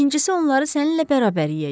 İkincisi onları səninlə bərabər yeyəcəm.